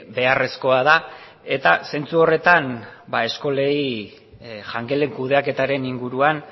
beharrezkoa da eta zentzu horretan eskolei jangelen kudeaketaren inguruan